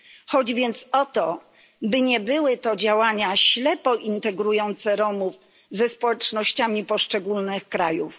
Chodzi więc o to, by nie były to działania ślepo integrujące Romów ze społecznościami poszczególnych krajów.